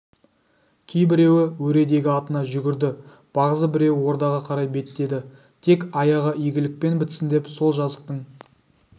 кейбіреуі өредегі атына жүгірді бағзы біреуі ордаға қарай беттеді тек аяғы игілікпен бітсін де сол жазықтың